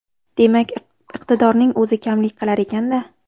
Demak iqtidorning o‘zi kamlik qilar ekanda?